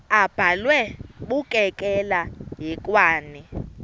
abhalwe bukekela hekwane